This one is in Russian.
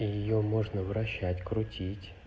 её можно вращать крутить